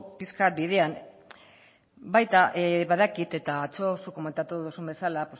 pixka bidean baita badakit eta atzo zuk komentatu duzun bezala